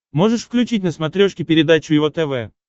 можешь включить на смотрешке передачу его тв